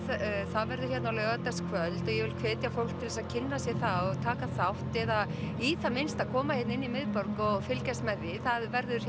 það verður hérna á laugardagskvöld og ég vil hvetja fólk til þess að kynna sér það og taka þátt eða í það minnsta koma hérna inn í miðborg og fylgjast með því það verður